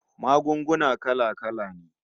Magunguna kala-kala ne